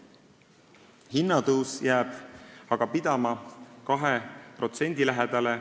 Hinnatõus jääb aga pidama 2% lähedale.